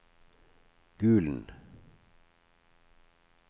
Gulen